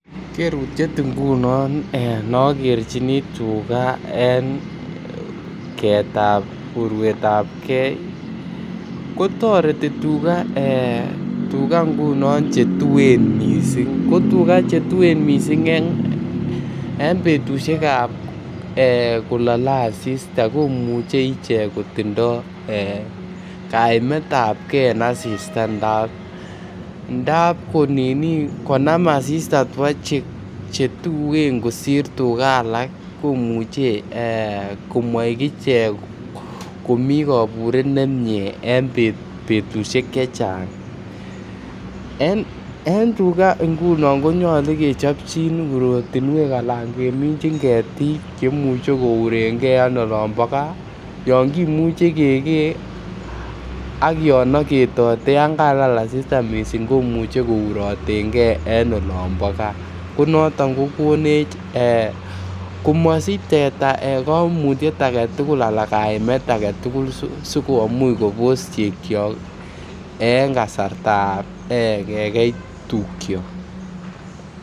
Kerutiet ngunon ne nogerchini tuga en keetab urwetab gee ko toreti tuga ngunon che tuen missing, ko ngunon che tuen missing en betushekab ee kolole asista komuche ichek kotindo kaimetab gee en asista ndap ko nini konam asista tua che tuen kosir tuga alak komuche ee komoik ichek komii koburet nemie en betushek chechang. En tuga ngunon ko nyoluu ke chopjin urotinwek ana kemichin ketik chemuche kouren gee en olombo gaa yon kimuche kegee ak yon ogetote yan kalal asista missing komuche kouroten gee en olombo gaa ko noton ko konech ee komosich teta koimutiet agetugul ana kaimet agetugul sikomuch Kobos chegyok en kasartab kegei tukyok